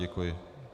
Děkuji.